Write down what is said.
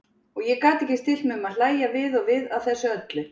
Og ég gat ekki stillt mig um að hlægja við og við að þessu öllu.